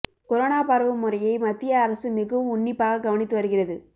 corona பரவும் முறையை மத்திய அரசு மிகவும் உன்னிப்பாக கவனித்து வருகிறது